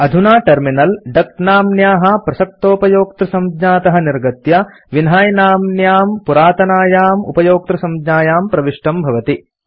अधुना टर्मिनल डक नाम्न्याः प्रसक्तोपयोक्तृसंज्ञातः निर्गत्य विन्है नाम्न्यां पुरातनायाम् उपयोक्तृसंज्ञायां प्रविष्टं भवति